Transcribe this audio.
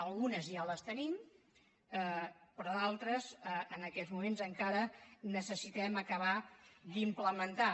algunes ja les tenim però d’altres en aquests moments encara necessitem acabar d’implementar